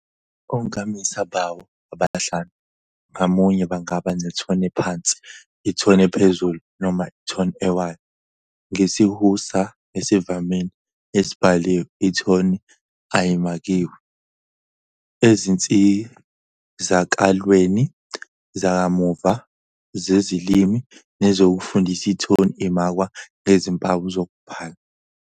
Onkamisa bawo abahlanu ngamunye bangaba nethoni ephansi, ithoni ephezulu noma ithoni ewayo. NgesiHausa esivamile esibhaliwe, ithoni ayimakiwe. Ezinsizakalweni zakamuva zezilimi nezokufundisa, ithoni imakwa ngezimpawu zokubhala.